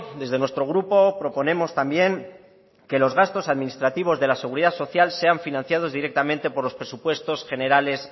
desde nuestro grupo proponemos también que los gastos administrativos de la seguridad social sean financiados directamente por los presupuestos generales